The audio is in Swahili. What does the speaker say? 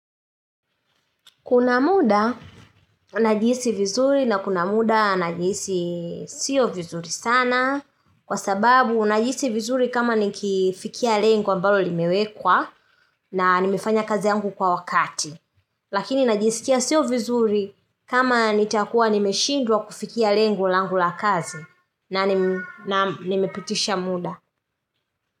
Kuna muda najihisi vizuri na kuna muda najihisi sio vizuri sana kwa sababu najihisi vizuri kama nikifikia lengo ambalo limewekwa na nimefanya kazi yangu kwa wakati. Lakini najisikia sio vizuri kama nitakuwa nimeshindwa kufikia lengo langu la kazi na nimepitisha muda.